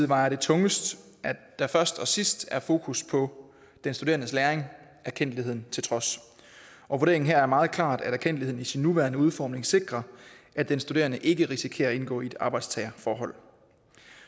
vejer det tungest at der først og sidst er fokus på den studerendes læring erkendtligheden til trods vurderingen her er meget klart at erkendtligheden i sin nuværende udformning sikrer at den studerende ikke risikerer at indgå i et arbejdstagerforhold